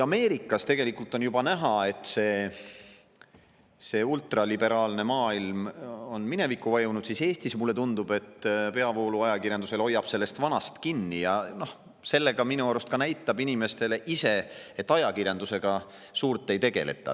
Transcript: Ameerikas on tegelikult juba näha, et ultraliberaalne maailm on minevikku vajunud, aga Eestis, mulle tundub, hoiab peavoolu ajakirjandus veel vanast kinni ja minu arust näitab sellega inimestele ise, et ajakirjandusega suurt ei tegeleta.